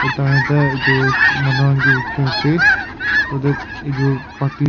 Eta etya etu manu khan kae rukhi ase so that etu party --